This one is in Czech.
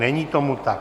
Není tomu tak.